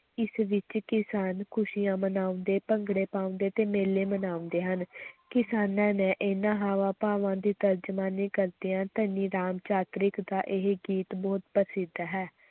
ਇਸ ਵਿੱਚ ਕਿਸਾਨ ਖ਼ੁਸ਼ੀਆਂ ਮਨਾਉਂਦੇ, ਭੰਗੜੇ ਪਾਉਂਦੇ ਤੇ ਮੇਲੇ ਮਨਾਉਂਦੇ ਹਨ ਕਿਸਾਨਾਂ ਨੇ ਇਨ੍ਹਾਂ ਹਾਵਾਂ-ਭਾਵਾਂ ਦੀ ਤਰਜਮਾਨੀ ਕਰਦਿਆਂ ਧਨੀ ਰਾਮ ਚਾਤ੍ਰਿਕ ਦਾ ਇਹ ਗੀਤ ਬਹੁਤ ਪ੍ਰਸਿੱਧ ਹੈ।